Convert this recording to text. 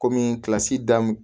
Kɔmi kilasi daminɛ